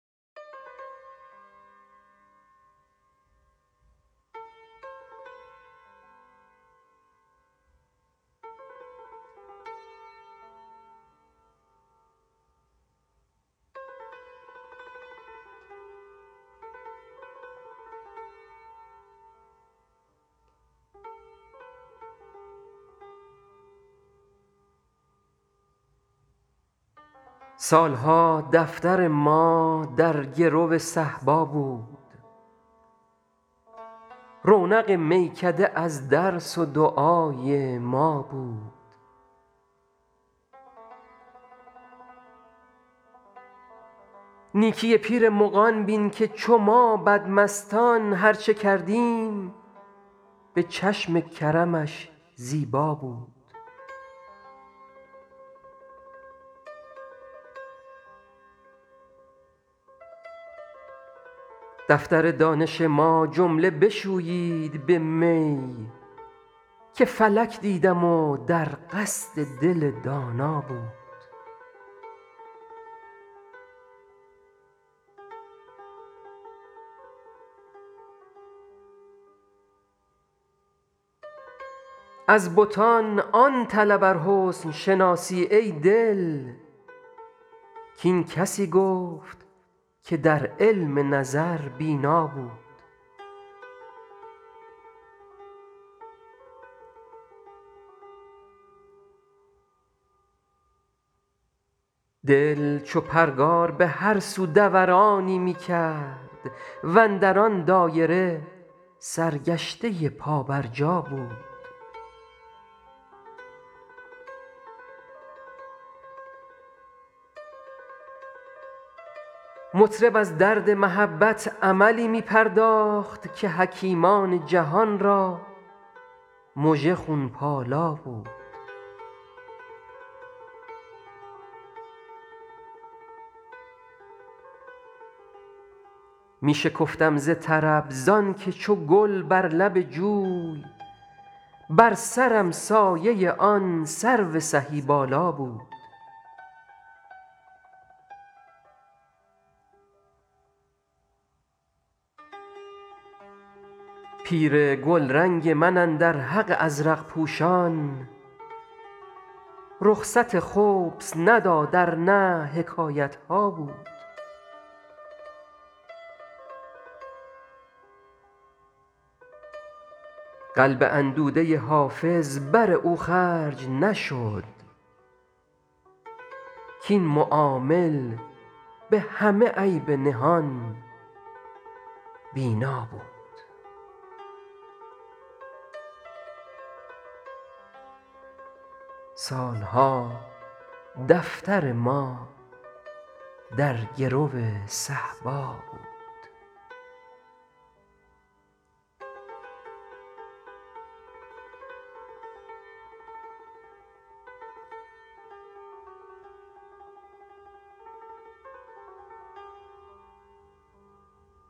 سال ها دفتر ما در گرو صهبا بود رونق میکده از درس و دعای ما بود نیکی پیر مغان بین که چو ما بدمستان هر چه کردیم به چشم کرمش زیبا بود دفتر دانش ما جمله بشویید به می که فلک دیدم و در قصد دل دانا بود از بتان آن طلب ار حسن شناسی ای دل کاین کسی گفت که در علم نظر بینا بود دل چو پرگار به هر سو دورانی می کرد و اندر آن دایره سرگشته پابرجا بود مطرب از درد محبت عملی می پرداخت که حکیمان جهان را مژه خون پالا بود می شکفتم ز طرب زان که چو گل بر لب جوی بر سرم سایه آن سرو سهی بالا بود پیر گلرنگ من اندر حق ازرق پوشان رخصت خبث نداد ار نه حکایت ها بود قلب اندوده حافظ بر او خرج نشد کاین معامل به همه عیب نهان بینا بود